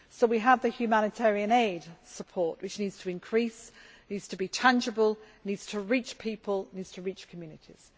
So, we have the humanitarian aid support, which needs to increase, needs to be tangible, needs to reach people and communities.